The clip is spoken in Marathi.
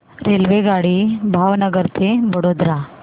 रेल्वेगाडी भावनगर ते वडोदरा